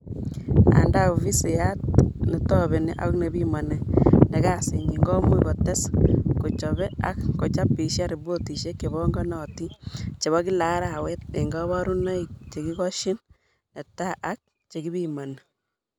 Anda, ofisiyat netobeni ak nepimani ne kasinyi komuch ketes kochobe ak kochapishan ripotishek chebanganatin chebo kila arawet eng kabarunoik chekikoshin netai ak chekipimani